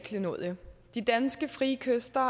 klenodie de danske frie kyster